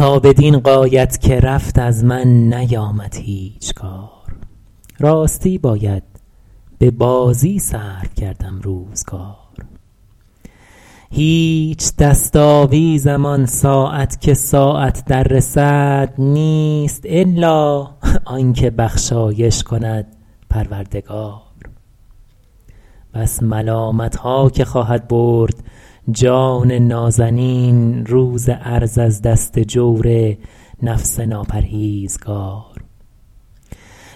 تا بدین غایت که رفت از من نیامد هیچ کار راستی باید به بازی صرف کردم روزگار هیچ دست آویزم آن ساعت که ساعت در رسد نیست الا آن که بخشایش کند پروردگار بس ملامتها که خواهد برد جان نازنین روز عرض از دست جور نفس ناپرهیزگار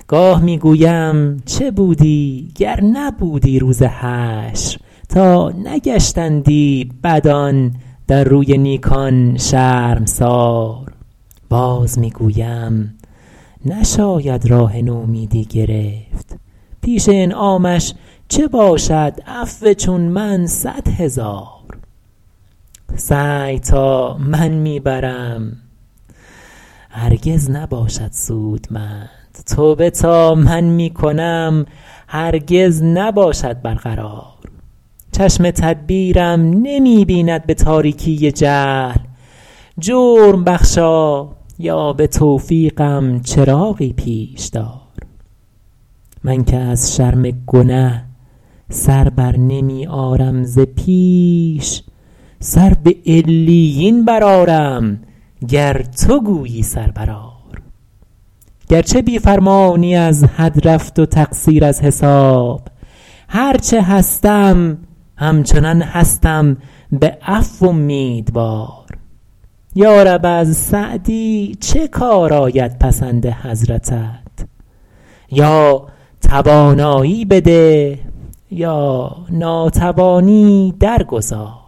گاه می گویم چه بودی گر نبودی روز حشر تا نگشتندی بدان در روی نیکان شرمسار باز می گویم نشاید راه نومیدی گرفت پیش انعامش چه باشد عفو چون من صد هزار سعی تا من می برم هرگز نباشد سودمند توبه تا من می کنم هرگز نباشد برقرار چشم تدبیرم نمی بیند به تاریکی جهل جرم بخشا یا به توفیقم چراغی پیش دار من که از شرم گنه سر برنمی آرم ز پیش سر به علیین برآرم گر تو گویی سر برآر گرچه بی فرمانی از حد رفت و تقصیر از حساب هر چه هستم همچنان هستم به عفو امیدوار یارب از سعدی چه کار آید پسند حضرتت یا توانایی بده یا ناتوانی در گذار